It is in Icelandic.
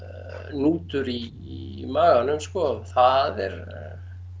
hnútur í maganum sko það er